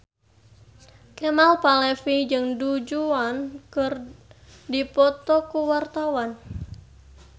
Kemal Palevi jeung Du Juan keur dipoto ku wartawan